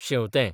शेंवतें